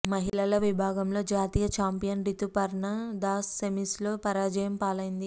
మహిళల విభాగంలో జాతీయ చాంపియన్ రితుపర్ణ దాస్ సెమీస్లో పరాజయం పాలైంది